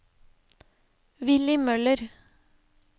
Villy Møller